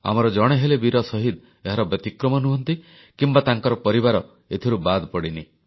ଆମର ଜଣେ ହେଲେ ବୀର ଶହୀଦ ଏହାର ବ୍ୟତିକ୍ରମ ନୁହଁନ୍ତି କିମ୍ବା ତାଙ୍କର ପରିବାର ଏଥିରୁ ବାଦ ପଡ଼ିନି